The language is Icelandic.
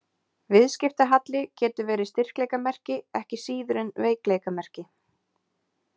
Viðskiptahalli getur verið styrkleikamerki ekki síður en veikleikamerki.